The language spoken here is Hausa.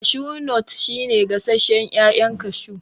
Kashu nut shi ne gasashen ƴaƴan kashu